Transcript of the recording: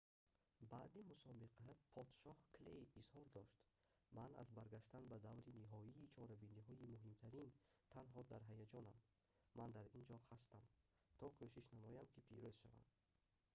баъди мусобиқа подшоҳ клей изҳор дошт ман аз баргаштан ба даври ниҳоии чорабиниҳои муҳимтарин танҳо дар ҳаяҷонам ман дар ин ҷо ҳастам то кӯшиш намоям ки пирӯз шавам